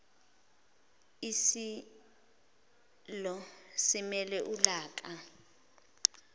isilo simele ulaka